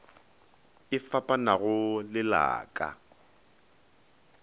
e fapanago le la ka